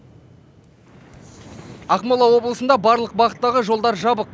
ақмола облысында барлық бағыттағы жолдар жабық